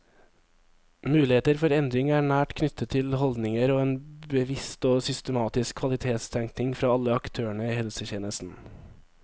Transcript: Muligheter for endring er nært knyttet til holdninger og en bevisst og systematisk kvalitetstenkning fra alle aktørene i helsetjenesten.